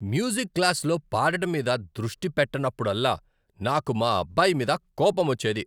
Music క్లాస్లో పాడటం మీద దృష్టి పెట్టనప్పుడల్లా నాకు మా అబ్బాయి మీద కోపమొచ్చేది.